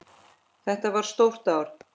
Þetta var stórt ár.